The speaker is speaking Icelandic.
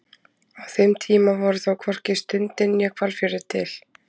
á þeim tíma voru þó hvorki sundin né hvalfjörður til